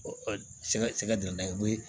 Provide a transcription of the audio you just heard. Sɛgɛ sɛgɛ de n'a ye